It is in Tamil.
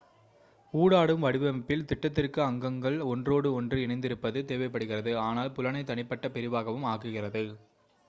ஊடாடும் வடிவமைப்பில் திட்டத்திற்கு அங்கங்கள் ஒன்றோடு ஒன்று இணைந்திருப்பது தேவைப்படுகிறது ஆனால் புலனை தனிப்பட்ட பிரிவாகவும் ஆக்குகிறது